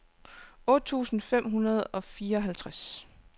otte tusind fem hundrede og fireoghalvtreds